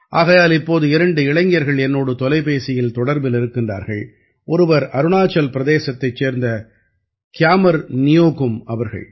ஆகையால் இப்போது இரண்டு இளைஞர்கள் என்னோடு தொலைபேசியில் தொடர்பில் இருக்கிறார்கள் ஒருவர் அருணாச்சல் பிரதேசத்தைச் சேர்ந்த கியாமர் நியோகும் அவர்கள்